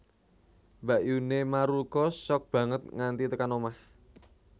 Mbakyune Maruko shock banget nganti tekan omah